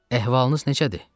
Əhvalınız necədir?